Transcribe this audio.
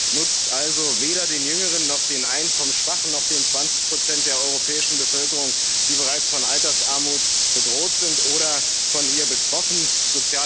PEPP nutzt also weder den Jüngeren noch den Einkommensschwachen noch den zwanzig Prozent der europäischen Bevölkerung, die bereits von Altersarmut bedroht oder von ihr betroffen sind.